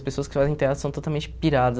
As pessoas que fazem teatro são totalmente piradas.